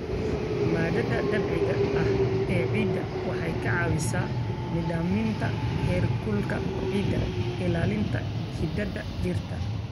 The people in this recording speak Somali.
Maaddada dabiiciga ah ee ciidda waxay ka caawisaa nidaaminta heerkulka ciidda, ilaalinta xididdada dhirta.